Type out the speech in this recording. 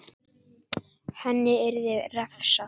Henni yrði refsað.